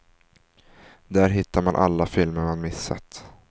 Där hittar man alla filmer man missat.